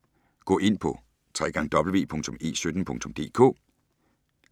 Gå ind på www.e17.dk